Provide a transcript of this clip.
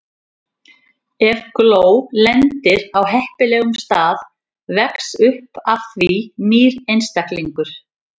Ef gró lendir á heppilegum stað vex upp af því nýr einstaklingur.